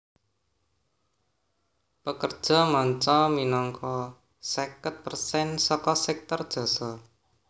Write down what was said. Pekerja manca minangka seket persen saka sèktor jasa